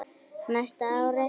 Næsta ár?